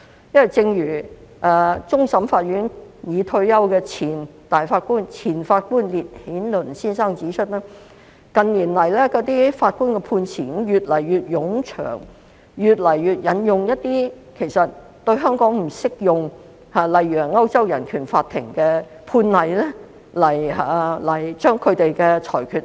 因為，正如終審法院已退休的前法官烈顯倫先生指出，近年法官的判詞越來越冗長，亦越來越多引用一些對香港不適用的內容，例如引用了歐洲人權法庭的判例來合理化其裁決。